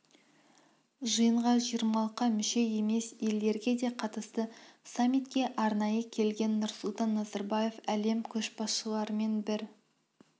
жиынға жиырмалыққа мүше емес елдерге де қатысты саммитке арнайы келген нұрсұлтан назарбаев әлем көшбасшыларымен бір